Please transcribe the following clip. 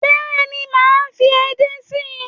Bẹ́ẹ̀ni, mo máa fi edé sí.